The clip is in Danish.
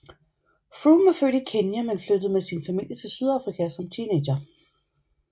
Froome er født i Kenya men flyttede med sin familie til Sydafrika som teenager